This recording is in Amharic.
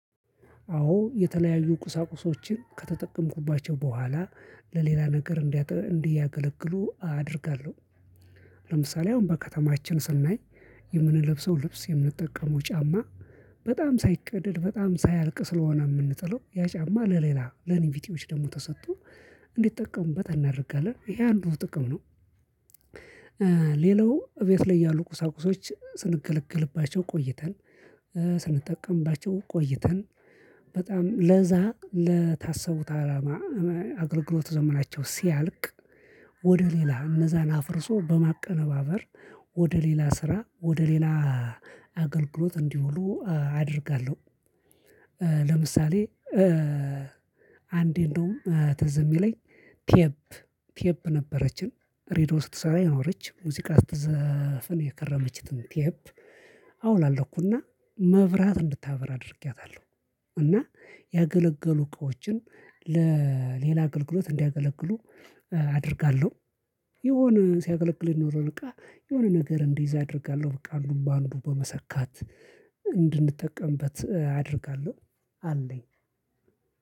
አዎ የተለያዩ ቁሳቁሶችን ከተጠቀምኩባቸው በኋላ ለሌላ ነገር እንዲያገለግሉ አደርጋለሁ። ለምሳሌ አሁን በከተማችን ስናይ የምንለብሰው ልብስ የምንጠቀመው ጫማ በጣም ሳይቀደድ በጣም ሳያልቅ ስለሆነ የምንጥለው ያ ጫማ ለሌላ ለኔቢጤዎች ደግሞ ተሰጥቶ እንዲጠቀሙበት እናደርጋለን ይሄ አንዱ ጥቅም ነው። ሌላው ቤት ላይ ያሉ ቁሳቁሶች ስንገለግልባቸው ቆይተን ስንጠቀምባቸው ቆይተን በጣም ለዛ ለታሰቡት አላማ አገልግሎት ዘመናቸው ሲያልቅ ወደ ሌላ እነዛን አፍርሶ በማቀነባበር ወደ ሌላ ስራ ወደ ሌላ አገልግሎት እንዲውሉ አደርጋለሁ። ለምሳሌ አንዴ እንደውም ትዝ የሚለኝ ቴፕ ቴፕ ነበረችን ሬድዮ ስትሰራ የኖረች ሙዚቃ ስትዘፍን የከረመችትን ቴፕ አወላለኩና መብራት እንድታበራ አድርጌያታለሁ። እና ያገለገሉ እቃዎችን ለሌላ አገልግሎት እንዲያገለግሉ አደርጋለሁ። የሆነ ሲያገለግል የኖረ እቃ የሆነ ነገር እንዲይዝ አደርጋለሁ በቃ አንዱ በአንዱ በመሰካት እንድንጠቀምበት አደርጋለሁ። አለኝ